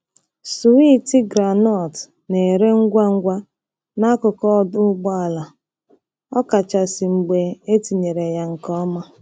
Swiiti groundnut na-ere ngwa ngwa n'akụkụ ọdụ ụgbọ ala, ọkachasị mgbe etinyere ya nke ọma.